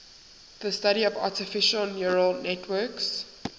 the study of artificial neural networks